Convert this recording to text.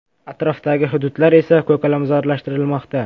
Atrofdagi hududlar esa ko‘kalamzorlashtirilmoqda.